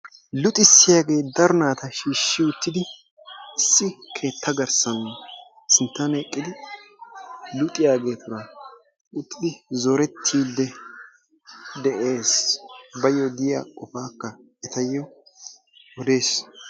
Luxissiyagee daro naata shiishshi uttidi issi keetta garssan sinttan eqqidi luxiyageetuura uttidi zorettiiddi de"es. Baayyo diya qofaakka etayyo odes.